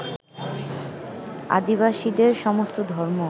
আদিবাসীদের সমস্ত ধর্ম